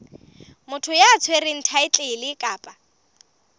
motho ya tshwereng thaetlele kapa